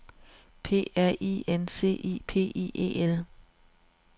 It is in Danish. P R I N C I P I E L